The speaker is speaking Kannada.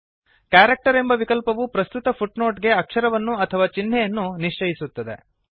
ಕ್ಯಾರೆಕ್ಟರ್ ಎಂಬ ವಿಕಲ್ಪವು ಪ್ರಸ್ತುತ ಫುಟ್ನೊಟ್ ಗೆ ಅಕ್ಷರವನ್ನು ಅಥವಾ ಚಿಹ್ನೆಯನ್ನು ನಿಶ್ಚಯಿಸುತ್ತದೆ